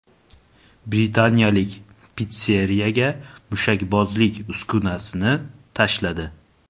Britaniyalik pitsseriyaga mushakbozlik uskunasini tashladi .